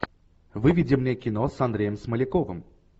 выведи мне кино с андреем смоляковым